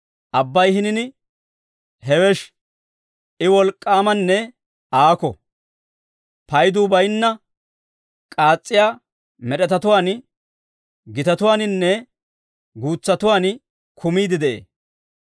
Abbay hinin hewesh; I wolk'k'aamanne aakko; payduu bayinna k'aas's'iyaa med'etatuwaan, gitatuwaaninne guutsatuwaan kumiide de'ee.